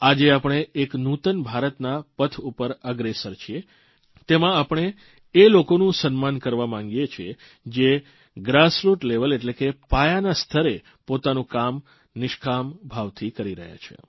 આજે આપણે એક નૂતન ભારતના પથ ઉપર અગ્રેસર છીએ તેમાં આપણે એ લોકોનું સન્માન કરવા માંગીએ છીએ જે પાયાના સ્તરે પોતાનું કામ નિષ્કામ ભાવથી કરી રહ્યા છે